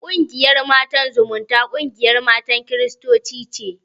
Ƙungiyar Matan Zumunta, ƙungiyar matan kiristoci ce.